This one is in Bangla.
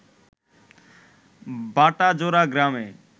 বাটাজোড়া গ্রামে